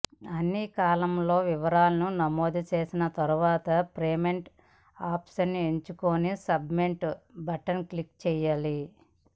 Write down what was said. అన్ని కాలమ్ లలో వివరాలను నమోదు చేసిన తర్వాత పేమెంట్ ఆప్షన్ ఎంచుకుని సబ్ మిట్ బటన్ క్లిక్ చేయాలి